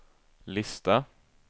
lista